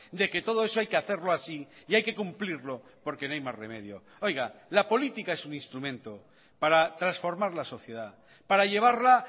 de que todo eso hay que hacerlo así y hay que cumplirlo porque no hay más remedio oiga la política es un instrumento para transformar la sociedad para llevarla